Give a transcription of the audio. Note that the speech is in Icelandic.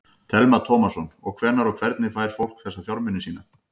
Telma Tómasson: Og hvenær og hvernig fær fólk þessa fjármuni sína?